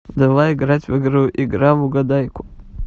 давай играть в игру игра в угадайку